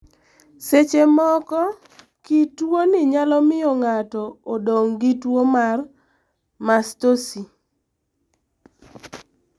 Seche moko, kit tuwoni nyalo miyo ng'ato odong ' gi tuwo mar mastosi.